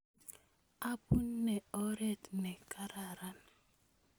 Apune oret ne kararan